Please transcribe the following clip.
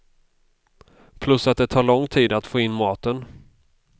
Plus att det tar lång tid att få in maten.